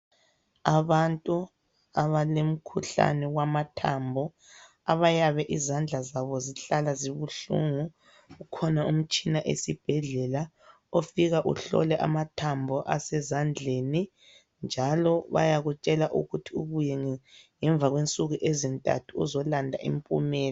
Abantu abalemkhuhlane wamathambo, abayabe izandla zabo zihlala zibuhlungu. Kukhona umtshina esibhedlela, ofika uhlole amathambo asezandleni. Njalo bayakutshela ukuthi ubuye ngemva kwensuku ezintathu, uzolanda impumela.